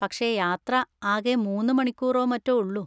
പക്ഷെ യാത്ര ആകെ മൂന്ന്‌ മണിക്കൂറോ മറ്റോ ഒള്ളൂ.